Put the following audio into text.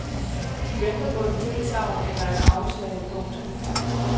De venter på et tilsagn eller et afslag. punktum